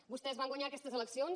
vostès van guanyar aquestes eleccions